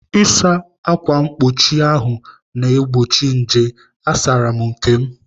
Ịsa ákwà mkpuchi ahụ ná-egbochi nje. Asaara m nke.